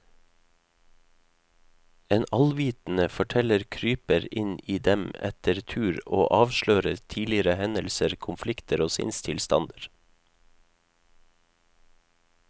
En allvitende forteller kryper inn i dem etter tur og avslører tidligere hendelser, konflikter og sinnstilstander.